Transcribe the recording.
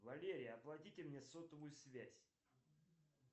валерия оплатите мне сотовую связь